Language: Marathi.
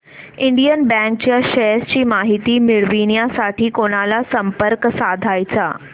इंडियन बँक च्या शेअर्स ची माहिती मिळविण्यासाठी कोणाला संपर्क साधायचा